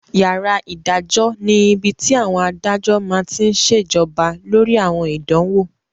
Yàrá ìdájọ́ ni ibi tí àwọn adájọ́ máa tí n ṣe jọba lórí àwọn ìdánwò